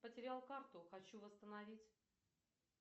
потерял карту хочу восстановить